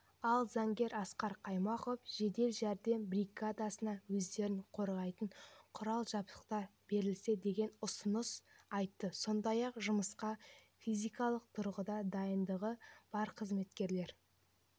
ал заңгер асқар қаймақов жедел жәрдем бригадасына өздерін қорғайтын құрал-жабдықтар берілсе деген ұсыныс айтты сондай-ақ жұмысқа физикалық тұрғыдан дайындығы бар қызметкерлер